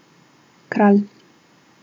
Kralj.